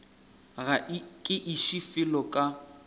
ga ke iše felo ka